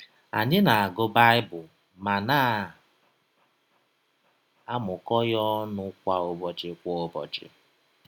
Anyị na - agụ Baịbụl ma na - amụkọ ya ọnụ kwa ụbọchị kwa ụbọchị.